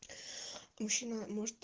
мужчина может